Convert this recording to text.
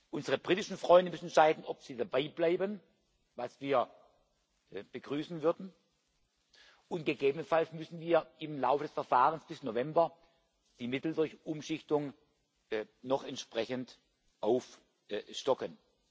Unsere britischen Freunde müssen entscheiden, ob sie dabeibleiben was wir begrüßen würden und gegebenenfalls müssen wir im Laufe des Verfahrens bis November die Mittel durch Umschichtungen noch entsprechend aufstocken.